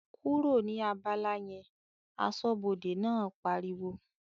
"kúrò ní abala yẹn!", aṣọ́bọdè náà pariwo